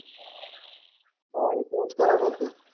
હા એતો એજ થવાનું કે.